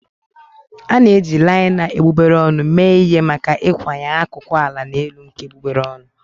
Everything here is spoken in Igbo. A na-eji laina egbugbere ọnụ mee ihe maka ịkwanye akụkụ ala na elu nke egbugbere ọnụ.